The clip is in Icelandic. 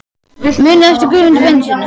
Muniði eftir Guðmundi Benediktssyni?